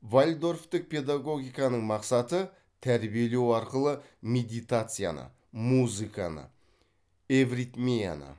вальдорфтік педагогиканың мақсаты тәрбиелеу арқылы медитацияны музыканы эвритмияны